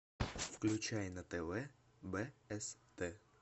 включай на тв бст